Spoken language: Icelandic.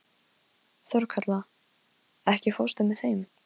Þorkatla, ekki fórstu með þeim?